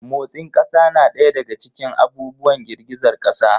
Motsin ƙasa na ɗaya daga cikin abubuwan girgizar ƙasa.